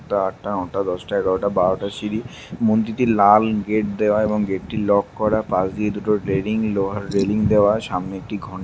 আটটা নটা দশটা এগারোটা বারোটা সিড়ি মন্দিরটি লাল গেট দেওয়া এবং গেট টি লক করা পাস্ দিয়ে দুটো রেলিং লোহার রেলিং দেওয়া। সামনে একটি ঘন --